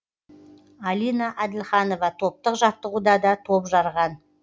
алина әділханова топтық жаттығуда да топ жарған